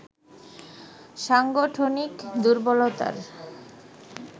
সাংগঠনিক দূর্বলতার